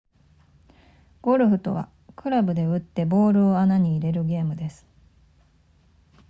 ゴルフとはクラブで打ってボールを穴に入れるゲームです